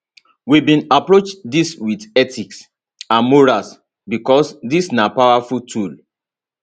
we bin approach dis wit ethics and morals becos dis na powerful tool